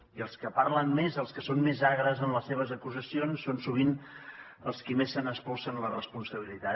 i els que parlen més els que són més agres en les seves acusacions són sovint els qui més se’n espolsen la responsabilitat